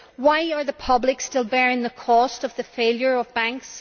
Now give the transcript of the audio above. Why are the public still bearing the cost of the failure of banks?